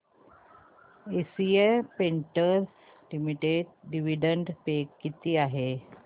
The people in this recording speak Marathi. Asian Paints Limited dividend pay किती आहे